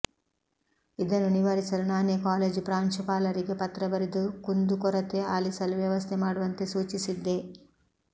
ಇದನ್ನು ನಿವಾರಿಸಲು ನಾನೇ ಕಾಲೇಜು ಪ್ರಾಂಶುಪಾಲರಿಗೆ ಪತ್ರ ಬರೆದು ಕುಂದುಕೊರತೆ ಆಲಿಸಲು ವ್ಯವಸ್ಥೆ ಮಾಡುವಂತೆ ಸೂಚಿಸಿದ್ದೆ